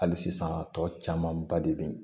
Hali sisan tɔ camanba de be ye